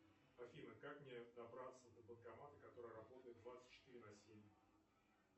афина как мне добраться до банкомата который работает двадцать четыре на семь